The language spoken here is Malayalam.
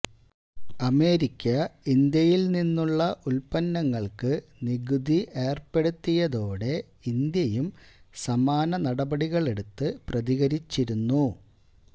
അമേരിക്ക ഇന്ത്യയില്നിന്നുള്ള ഉത്പന്നങ്ങള്ക്ക് നികുതി ഏര്പ്പെടുത്തിയതോടെ ഇന്ത്യയും സമാന നടപടികളെടുത്ത് പ്രതികരിച്ചിരുന്നു